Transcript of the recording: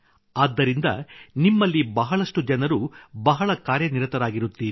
ಆದ್ದರಿಂದ ನಿಮ್ಮಲ್ಲಿ ಬಹಳಷ್ಟು ಜನರು ಬಹಳ ಕಾರ್ಯನಿರತರಾಗಿರುತ್ತೀರಿ